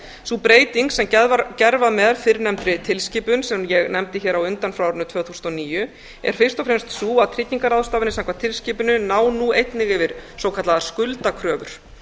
sú breyting sem gerð var með fyrrnefndri tilskipun sem ég nefndi hér á undan frá árinu tvö þúsund og níu er fyrst og fremst sú að tryggingarráðstafanir samkvæmt tilskipuninni ná nú einnig yfir svokallaðar skuldakröfur